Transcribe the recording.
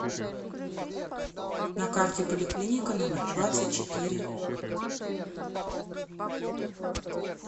на карте поликлиника номер двадцать четыре